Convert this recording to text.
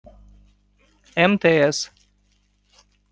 мтс